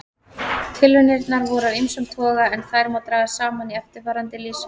Tilraunirnar voru af ýmsum toga en þær má draga saman í eftirfarandi lýsingu.